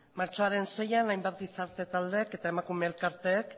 martxoaren seian hainbat gizarte taldeek eta emakume elkarteek